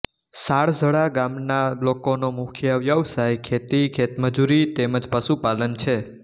સાળજડા ગામના લોકોનો મુખ્ય વ્યવસાય ખેતી ખેતમજૂરી તેમ જ પશુપાલન છે